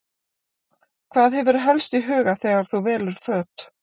Hvað hefurðu helst í huga þegar þú velur föt?